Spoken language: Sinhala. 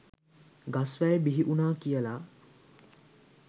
ගස් වැල් බිහිවුනා කියල.